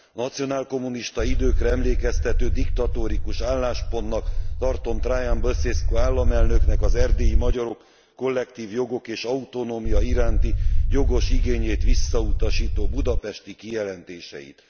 Nacionálkommunista időkre emlékeztető diktatórikus álláspontnak tartom Traian Basescu államelnöknek az erdélyi magyarok kollektív jogok és autonómia iránti jogos igényét visszautasító budapesti kijelentéseit.